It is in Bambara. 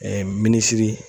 minisiri